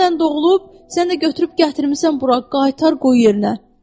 Dünən doğulub, sən də götürüb gətirmisən bura, qaytar qoy yerinə.